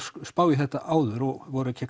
spá í þetta áður og voru